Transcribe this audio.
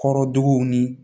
Kɔrɔduguw ni